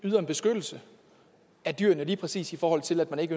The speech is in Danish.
yder en beskyttelse af dyrene lige præcis i forhold til at der ikke